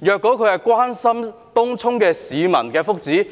如果他關心東涌市民的福祉，